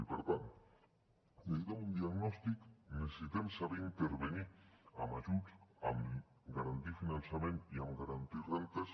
i per tant necessitem un diagnòstic necessitem saber intervenir amb ajuts amb garantia i finançament i garantir rendes